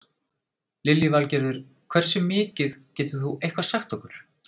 Lillý Valgerður: Hversu mikið, getur þú eitthvað sagt okkur?